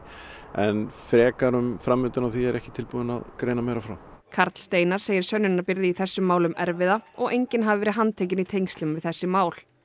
en frekar um framvinduna á því er ég ekki tilbúinn að greina meira frá karl Steinar segir sönnunarbyrði í þessum málum erfiða og enginn hafi verið handtekinn í tengslum við þessi mál